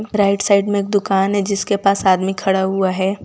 Right side में एक दुकान है जिसके पास आदमी खड़ा हुआ है।